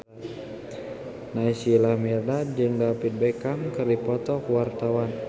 Naysila Mirdad jeung David Beckham keur dipoto ku wartawan